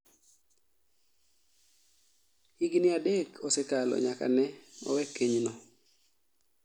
Higni adek osekalo nyaka ne owe kenyno